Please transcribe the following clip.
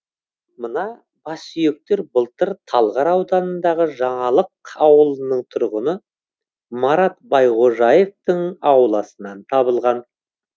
мына бассүйектер былтыр талғар ауданындағы жаңалық ауылының тұрғыны марат байғожаевтың ауласынан табылған